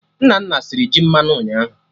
Nnanna sịrị ji mmanụ ụnyaahụ